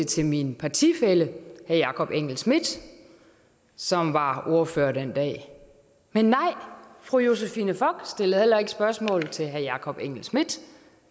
til min partifælle herre jakob engel schmidt som var ordfører den dag men nej fru josephine fock stillede heller ikke spørgsmål til herre jakob engel schmidt